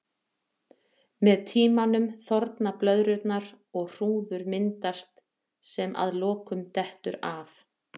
Með tímanum þorna blöðrurnar og hrúður myndast sem að lokum dettur af.